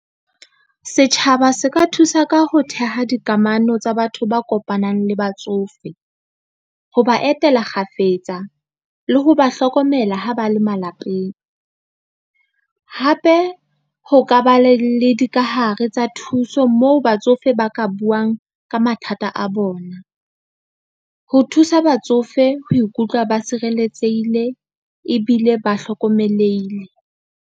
Setjhaba se ka thusa ka ho theha dikamano tsa batho ba kopanang le batsofe, ho ba etela kgafetsa le ho ba hlokomela ha ba le malapeng. Hape ho ka ba le dikahare tsa thuso moo batsofe ba ka buang ka mathata a bona, ho thusa batsofe ho ikutlwa ba sireletsehile ebile ba hlokomelehile.